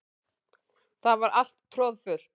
Það var alltaf troðfullt.